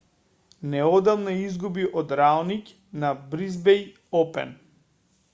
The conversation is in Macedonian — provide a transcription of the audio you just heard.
неодамна изгуби од раониќ на бризбејн опен